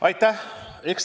Aitäh!